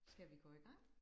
Skal vi gå i gang?